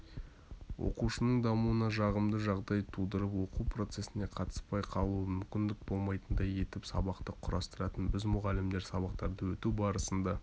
оқушының дамуына жағымды жағдай тудырып оқу процесіне қатыспай қалуы мүмкін болмайтындай етіп сабақты құрастыратын біз мұғалімдер сабақтарды өту барысында